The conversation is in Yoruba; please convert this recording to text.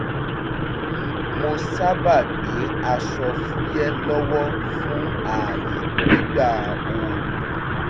mo sábà gbé aṣọ fúyẹ́ lọ́wọ́ fún ààyè nígbà ooru